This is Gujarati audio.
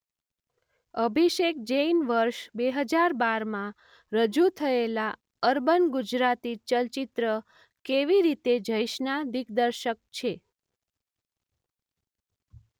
અભિષેક જૈન વર્ષ બે હજાર બાર માં રજૂ થયેલા અર્બન ગુજરાતી ચલચિત્ર કેવી રીતે જઈશના દિગ્દર્શક છે.